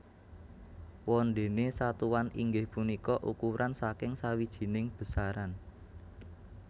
Wondene satuan inggih punika ukuran saking sawijining besaran